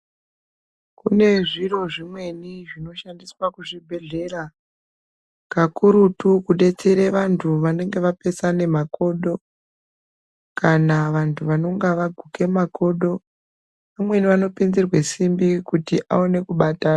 Kune zviro zvimweni zvinoshandiswe kuzvibhehlera kakurutu kudetsera vanhu vanenge vapesane makodo kana vantu vanenge vaguke makodo umweni anopinzirwe simbi kuti aone kubatana.